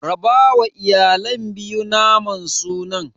Rabawa iyalan biyu naman sunan.